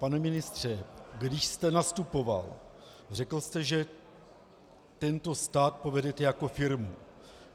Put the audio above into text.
Pane ministře, když jste nastupoval, řekl jste, že tento stát povedete jako firmu.